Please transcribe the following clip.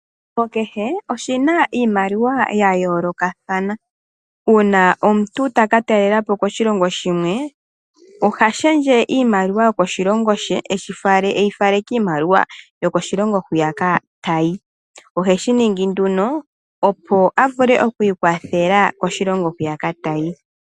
Oshilongo kehe oshina iimaliwa ya yoolokathana. Uuna omuntu taka talela po koshilongo shimwe, oha lundulula iimaliwa yokoshilongo she eyi fale kiimaliwa yokoshilongo hwiyaka ta yi. Oheshi ningi nduno opo a vule okwiikwathela koshilongo hwiyaka tayi.